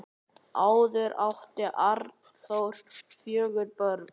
Áður átti Arnþór fjögur börn.